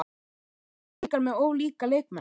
Eru Blikar með of líka leikmenn?